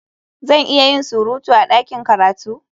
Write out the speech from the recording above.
Zan iya yin surutu a ɗakin karatu?